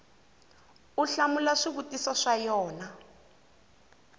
u hlamula swivutiso swa yona